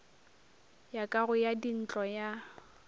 ya kago ya dintlo ya